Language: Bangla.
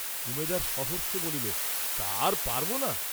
উমেদার সহর্ষে বলিল তা আর পারব না?